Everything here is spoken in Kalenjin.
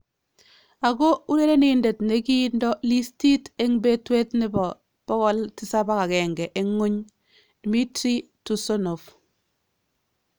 Ako urerenindet nekindoo listiit en betweet nebo 701 en ngwony -Dmitry Tursunov